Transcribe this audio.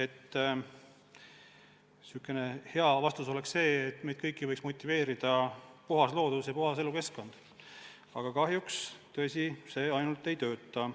" Jah, sihukene hea vastus oleks see, et meid kõiki võiks motiveerida puhas loodus ja puhas elukeskkond, aga kahjuks on tõsi, see üksi ei tööta.